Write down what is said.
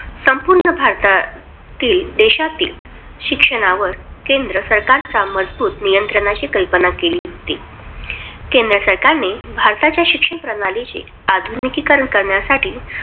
संपूर्ण भारतातील देशातील शिक्षणावर केंद्र सरकारचा मजबुती नियंत्रणाशी कल्पना केली होती. केंद्र सरकारने भारताच्या शिक्षणप्रणालीची आधुनिकीकरण करण्यासाठी